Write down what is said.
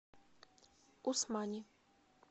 усмани